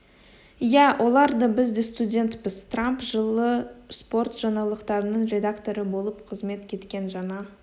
ия олар да біз де студентпіз трамп жылы спорт жаңалықтарының редакторы болып қызмет еткен жаңа